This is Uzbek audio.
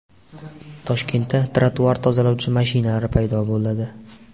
Toshkentda trotuar tozalovchi mashinalar paydo bo‘ladi.